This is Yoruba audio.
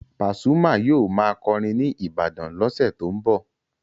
Pasuma yóò máa kọrin ní Ibadan lọ́sẹ̀ tó ń bọ̀.